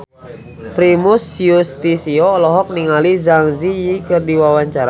Primus Yustisio olohok ningali Zang Zi Yi keur diwawancara